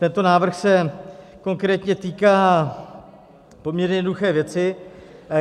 Tento návrh se konkrétně týká poměrně jednoduché věci.